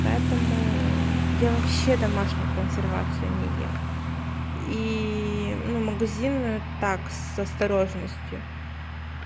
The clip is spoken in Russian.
поэтому я вообще домашнюю консервацию не ем и ну магазинную так с осторожностью